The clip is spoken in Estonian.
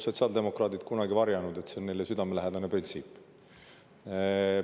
Sotsiaaldemokraadid pole ju kunagi varjanud, et see on neile südamelähedane printsiip.